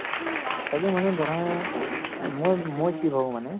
তাকে মানে ধৰা আহ মই মই কি ভাবো মানে